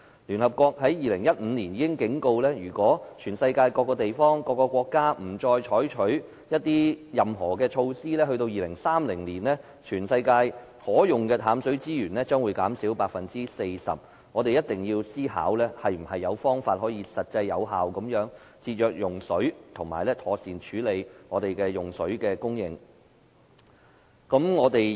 聯合國已於2015年作出警告，如果全球各地不採取任何措施，則到了2030年，全球可用的淡水資源將會減少 40%， 所以我們一定要想出能實際有效地節約用水的方法，並妥善處理水的供應。